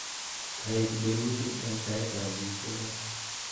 kaek berutit eng taitab biik kokeny